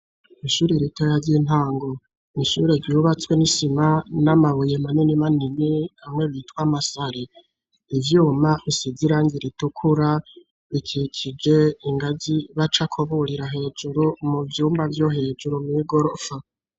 Ishuri ritoya ry'intango ishure ryubatswe n'isima n'amabuye manini manini hamwe bitwa amasare ivyuma risize irangi ritukura bikikije ingagi bacakaburira hejuru mu vyumba vyo hejuru mw'igorofa.